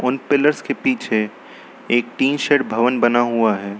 इन pillars के पीछे एक टीन शेड भवन बना हुआ है।